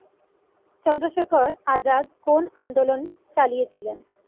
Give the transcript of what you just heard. চন্দ্রশেখর আজাদ কোন আন্দোলন চালিয়েছিলেন?